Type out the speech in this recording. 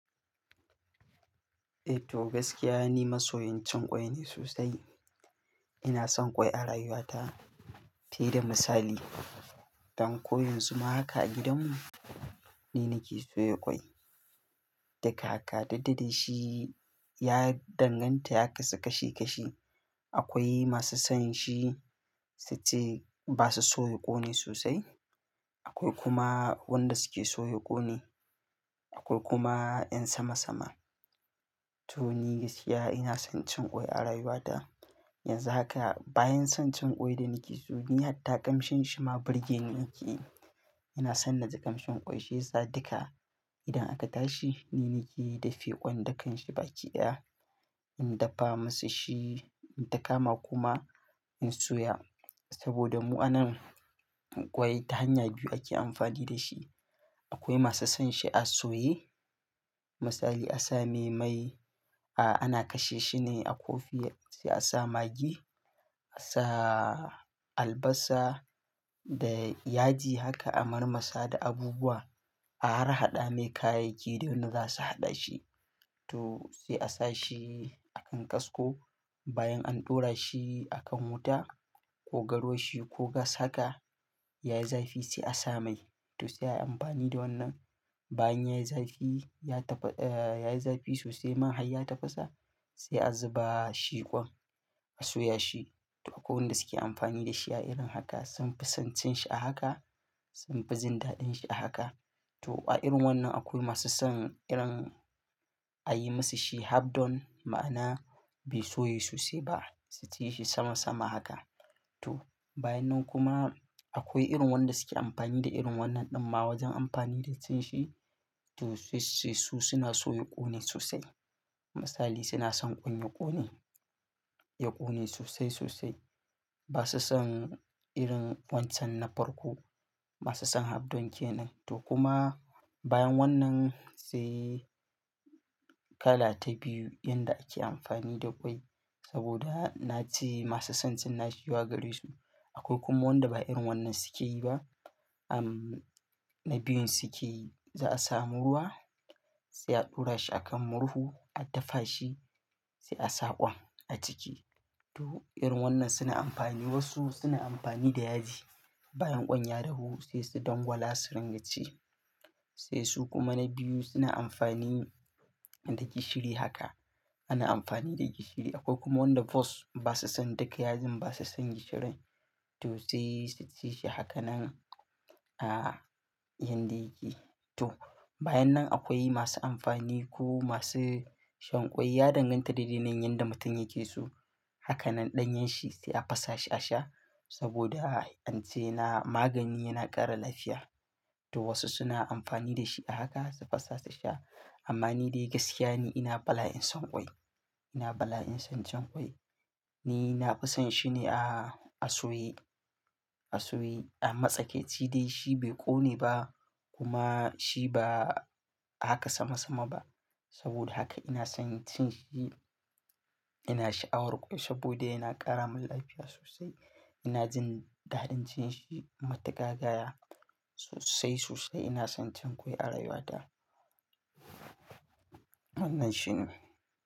Eh to gaskiya, ni masoyin cin ƙwai ne sosai. Ina son ƙwai a rayuwata. Fiye da misali, danko yanzu ma haka a gidanmu, ni nake soya ƙwai. Daga haka daidai da shi ya danganta ya kasu kashi kashi. Akwai masu son shi suce ba su so ya ƙone sosai. Akwai kuma wanda suke so ya ƙone. Akwai kuma 'yan sama sama. To ni gaskiya ina son cin ƙwai a rayuwata. Yanzu haka bayan son cin ƙwai da nake so ni hatta kamshin shima birgeni yake. Ina son na ji ƙamshin ƙwai shi yasa duka idan aka tashi ni nake dafe ƙwan dukan shi baki ɗaya. In dafa masa shi, in ta kama kuma in soya saboda mu'anan ƙwai ta hanya biyu ake amfani da shi. Akwai masu son shi a soye. Misali a sa mai mai, a ana kashe shi ne a kofi sai a sa magi, a sa albasa da yaji haka a marmasa da abubuwa. A harhaɗa mai kayayyaki da wanda za su haɗa shi. To sai a sa shi a kan kasko bayan an ɗora shi a kan wuta ko garwashi ko gas haka yayi zafi sai a sa mai. To sai a yi amfani da wannan bayan yayi zafi, yayi zafi sosai man hayya ta fasa sai a zuba shi ƙwan a soya shi. To akwai wanda suke amfani da shi a irin haka sun fi son cin shi a haka, sun fi jin daɗin shi a haka. To a irin wannan akwai masu son irin a yi masa shi half done ma'ana bai soye sosai ba. Su ci shi sama sama haka. To bayan nan kuma akwai irin wanda suke amfani da irin wannan ɗin ma wajen amfani da cin shi. To sai su suna so ya ƙone sosai. Misali suna son ƙon ya ƙone, ya ƙone sosai sosai. Ba su son irin wancan na farko. Ba su son half done kenan. To kuma bayan wannan sai kala ta biyu inda ake amfani da ƙwai saboda na ci masu son cin nashi yawa gare su. Akwai kuma wanda ba irin wannan suke yi ba. Amm na biyun suke za a samu ruwa sai a ɗora shi a kan murhu a dafa shi sai a sa ƙwan a ciki. To irin wannan suna amfani. Wasu suna amfani da yaji bayan ƙon ya dahu sai su dangwala su ringa ci. Sai su kuma na biyu suna amfani da gishiri haka. Ana amfani da gishiri. Akwai kuma wanda basu son duka yajin basu son gishirin. To sai su ci shi haka nan ah yanda yake. To bayan nan akwai masu amfani ko masu shan ƙwai ya danganta daidai nan yadda mutum yake so. Haka nan ɗanyen shi sai a fasa shi a sha saboda an ce yana magani yana ƙara lafiya. To wasu suna amfani da shi a haka su fasa su sha. Amma ni dai gaskiya ne ina bala'in son ƙwai. Ina bala'in son cin ƙwai. Ni na fi son shi ne a a soye, a soye a matsakaici dai. Shi bai ƙone ba kuma shi ba haka sama sama ba. Saboda haka ina son cin shi. Ina sha awar ƙwai saboda yana ƙara min lafiya sosai. Ina jin daɗin cin shi matuka gaya sosai sosai. Ina son cin ƙwai a rayuwata. Wannan shine.